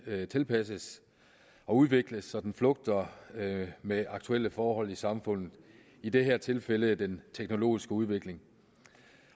tilpasses og udvikles så den flugter med aktuelle forhold i samfundet i det her tilfælde den teknologiske udvikling